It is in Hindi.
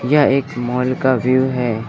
यह एक मॉल का व्यू है।